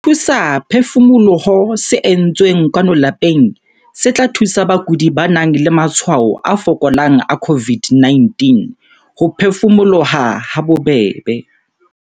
SETHUSAPHEFUMOLOHO se entsweng kwano lapeng se tla thusa bakudi ba nang le matshwao a fokolang a COVID-19 ho phefumoloha habobebe.